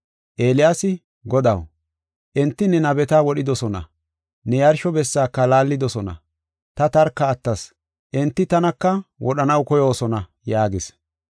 Eeliyaasi, “Godaw, enti ne nabeta wodhidosona, ne yarsho bessaaka laallidosona. Ta tarka attas; enti tanaka wodhanaw koyoosona” yaagis.